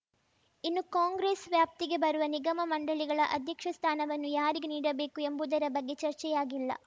ಇನ್ನು ಕಾಂಗ್ರೆಸ್‌ ವ್ಯಾಪ್ತಿಗೆ ಬರುವ ನಿಗಮಮಂಡಳಿಗಳ ಅಧ್ಯಕ್ಷ ಸ್ಥಾನವನ್ನು ಯಾರಿಗೆ ನೀಡಬೇಕು ಎಂಬುದರ ಬಗ್ಗೆ ಚರ್ಚೆಯಾಗಿಲ್ಲ